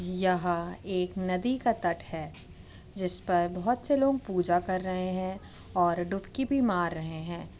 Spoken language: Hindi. यह एक नदी का तट है जिस पर बहोत से लोग पूजा कर रहे हैं और डुबकी भी मार रहे हैं।